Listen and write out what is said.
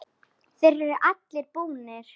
Þeir eru allir búnir.